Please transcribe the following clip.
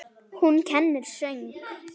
Hún kennir söng.